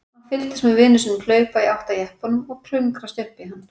Hann fylgdist með vini sínum hlaupa í átt að jeppanum og klöngrast upp í hann.